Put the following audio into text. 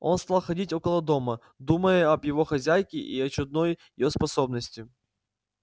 он стал ходить около дома думая об его хозяйке и о чудной её способности